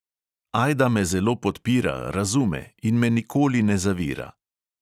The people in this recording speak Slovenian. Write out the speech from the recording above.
Ajda me zelo podpira, razume in me nikoli ne zavira.